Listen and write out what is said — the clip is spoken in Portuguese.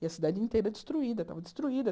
E a cidade inteira destruída, estava destruída.